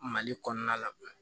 Mali kɔnɔna la